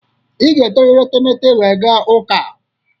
Ị ga-eteriri etemete wee gaa ụka.